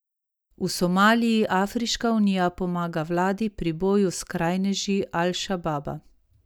V Somaliji Afriška unija pomaga vladi pri boju s skrajneži Al Šababa.